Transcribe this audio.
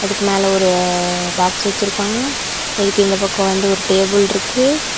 அதுக்கு மேல ஒரு பாக்ஸ் வெச்சிருக்காங்க. அதுக்கு இந்த பக்கம் வந்து ஒரு டேபிள் இருக்கு.